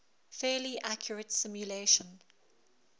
fairly accurate simulation